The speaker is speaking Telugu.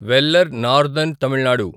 వెల్లర్ నార్తర్న్ తమిళ్ నాడు